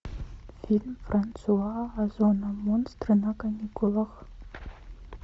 фильм франсуа озона монстры на каникулах